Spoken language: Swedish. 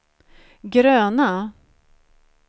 gröna